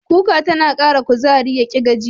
Kuka tana Ƙara kuzari, yaƙi gajiya.